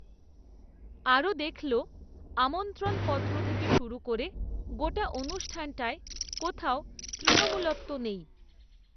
আরও দেখল, আমন্ত্রণপত্র থেকে শুরু করে, গোটা অনুষ্ঠানটায়, কোথাও তৃণমূলত্ব নেই